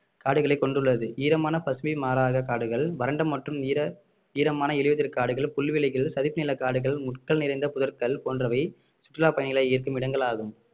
காடுகளை கொண்டுள்ளது ஈரமான பசுமை மாறாத காடுகள் வறண்ட மற்றும் ஈர~ ஈரமான இலையுதிர் காடுகள் புல்வெளிகள் சதுப்பு நில காடுகள் முட்கள் நிறைந்த புதர்கள் போன்றவை சுற்றுலா பயணிகளை ஈர்க்கும் இடங்களாகும்